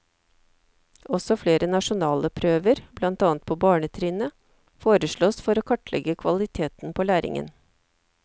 Også flere nasjonale prøver, blant annet på barnetrinnet, foreslås for å kartlegge kvaliteten på læringen.